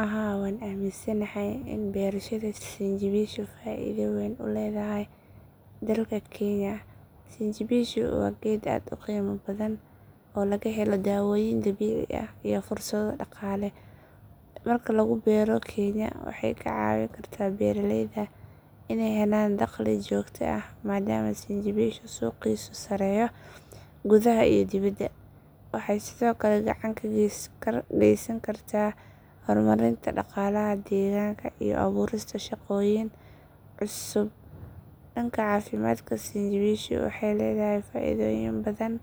WHaa waan aaminsanahay in beerashada sinjibishu faa’iido weyn u leedahay dalka kenya. Sinjibishu waa geed aad u qiimo badan oo laga helo daawooyin dabiici ah iyo fursado dhaqaale. Marka lagu beero kenya waxay ka caawin kartaa beeraleyda inay helaan dakhli joogto ah maadaama sinjibishu suuqiisu sarreeyo gudaha iyo dibadda. Waxay sidoo kale gacan ka geysan kartaa horumarinta dhaqaalaha deegaanka iyo abuurista shaqooyin cusub. Dhanka caafimaadka sinjibishu waxay leedahay faa’iidooyin badan.